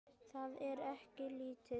Það er ekki lítið.